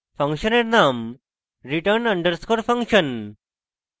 ফাংশনের name return underscore function